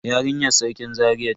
Yarinyar Sarkin Zaria ce.